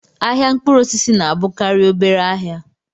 Ahịa mkpụrụ osisi na-abụkarị obere ahịa